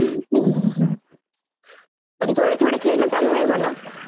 पण थोडं थोडं खेळणं चांगलंय म्हणा आपण आपल्या टीम सेट करू शकतो वगैरे.